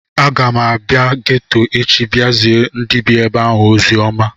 Aga m abịa geto echi bịa zie ndị bie ebe ahụ oziọma